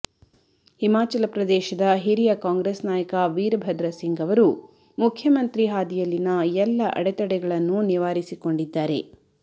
ಹಿಮಾಚಲ ಪ್ರದೇಶದ ಹಿರಿಯ ಕಾಂಗ್ರೆಸ್ ನಾಯಕ ವೀರಭದ್ರ ಸಿಂಗ್ ಅವರು ಮುಖ್ಯಮಂತ್ರಿ ಹಾದಿಯಲ್ಲಿನ ಎಲ್ಲ ಅಡೆತಡೆಗಳನ್ನೂ ನಿವಾರಿಸಿಕೊಂಡಿದ್ದಾರೆ